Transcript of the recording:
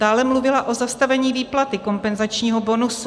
Dále mluvila o zastavení výplaty kompenzačního bonusu.